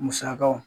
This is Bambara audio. Musakaw